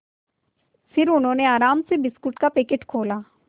फिर उन्होंने आराम से बिस्कुट का पैकेट खोला